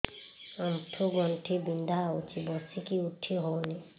ଆଣ୍ଠୁ ଗଣ୍ଠି ବିନ୍ଧା ହଉଚି ବସିକି ଉଠି ହଉନି